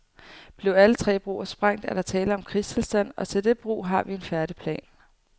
Blev alle tre broer sprængt, er der tale om krigstilstand, og til det brug har vi en færdig plan.